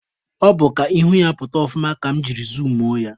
Ọ bụ ka ihu ya pụta ọfụma ka mụ jiri zumuo ya